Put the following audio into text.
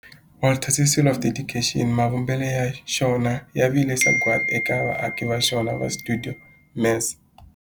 Walter Sisulu Square of Dedication, mavumbelo ya xona ya vile sagwadi eka vaaki va xona va stuidio MAS.